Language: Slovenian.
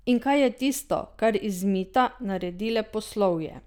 In kaj je tisto, kar iz mita naredi leposlovje?